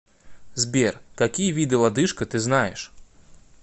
сбер какие виды лодыжка ты знаешь